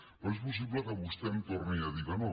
però és possible que vostè em torni a dir que no